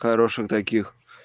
хороших таких